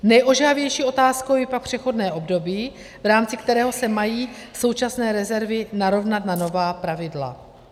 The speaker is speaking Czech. Nejožehavější otázkou je pak přechodné období, v rámci kterého se mají současné rezervy narovnat na nová pravidla.